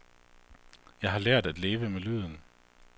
Jeg har lært at leve med lyden.